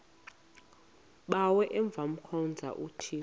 bawo avemkhonza uthixo